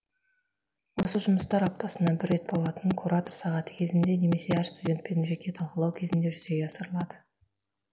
осы жұмыстар аптасына бір рет болатын куратор сағаты кезінде немесе әр студентпен жеке талқылау кезінде жүзеге асырылады